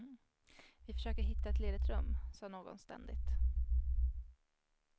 Vi försöker hitta ett ledigt rum, sa någon ständigt.